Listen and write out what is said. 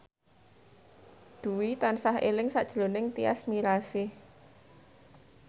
Dwi tansah eling sakjroning Tyas Mirasih